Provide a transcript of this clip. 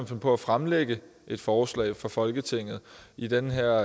finde på at fremsætte et forslag for folketinget i den her